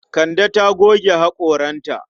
Kande ta goge haƙoranta.